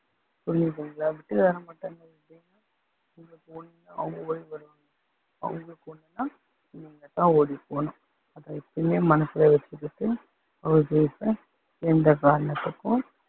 புரியுதுங்களா, விட்டுத்தர மாட்டாங்கன்னா எப்படி அவங்களுக்கு ஒண்ணுன்னா நீங்க தான் ஓடிப்போகணும் அதை எப்பயுமே மனசுல வச்சுக்கிட்டு house wife அ எந்த காரணத்துக்கும்